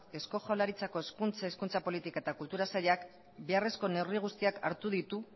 eusko jaurlaritzako hezkuntza hizkuntza politika eta kultura sailak beharrezko neurri guztiak hartu ditu